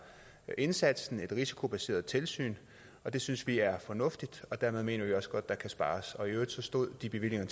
indsatsen et risikobaseret tilsyn og det synes vi er fornuftigt og dermed mener vi også godt at der kan spares i øvrigt stod de bevillinger